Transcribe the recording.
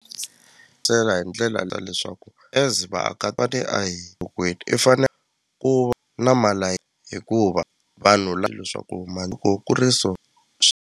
Byela hi ndlela la leswaku as va te a hi i fane ku va hikuva vanhu leswaku loko ku ri so .